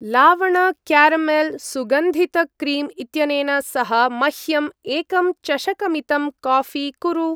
लावण-क्यारमेल्-सुगन्धित-क्रीम् इत्यनेन सह मह्यं एकं चषकमितं काऴी कुरु।